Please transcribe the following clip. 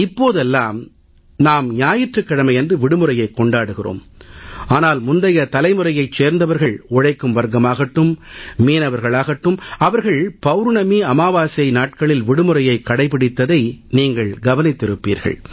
இப்போதெல்லாம் நாம் ஞாயிற்றுக்கிழமை அன்று விடுமுறையைக் கொண்டாடுகிறோம் ஆனால் முந்தைய தலைமுறையைச் சேர்ந்தவர்கள் உழைக்கும் வர்க்கமாகட்டும் மீனவர்களாகட்டும் அவர்கள் பவுர்ணமி அமாவாசை நாட்களில் விடுமுறையைக் கடைபிடித்ததை நீங்கள் கவனித்திருப்பீர்கள்